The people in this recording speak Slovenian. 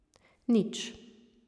Nič.